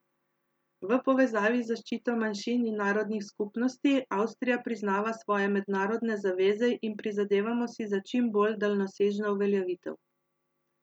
V povezavi z zaščito manjšin in narodnih skupnosti Avstrija priznava svoje mednarodne zaveze in prizadevamo si za čim bolj daljnosežno uveljavitev.